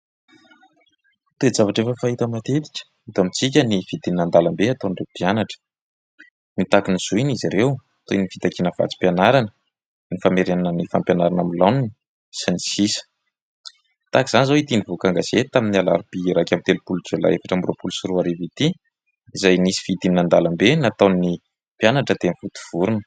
Toe-javatra efa fahita matetika eto amintsika ny fidinana an-dalambe ataon'ireo mpianatra. Mitaky ny zony izy ireo, toy ny fitakiana vatsim-pianarana, ny famerenana ny fampianarana amin'ny laoniny sy ny sisa. Tahaka izany izao ity nivoaka an-gazety tamin'ny alarobia iraika amby telopolo jolay efatra amby roapolo sy roa arivo ity izay nisy fidinina an-dalambe nataon'ny mpianatra teny Vontovorona.